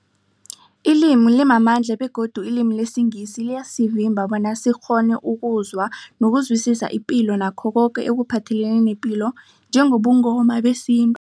Ilimi limamandla begodu ilimi lesiNgisi liyasivimba bona sikghone ukuzwa nokuzwisisa ipilo nakho koke ekuphathelene nepilo njengobuNgoma nesintu.